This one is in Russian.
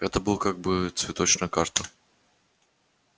это была как бы цветочная карта